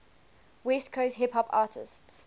west coast hip hop artists